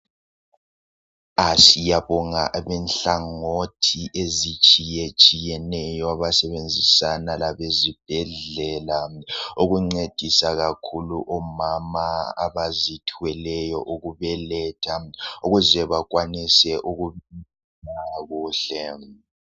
Siyabonga inhlangothi ezitshiyetshiyeneyo abasebenzisana labezibhedlela ukuncedisa kakhulu omama abazithweleyo ukubeletha ukuze bakwanise ukukhululeka kuhle.